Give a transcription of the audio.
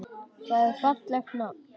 Það er fallegt nafn.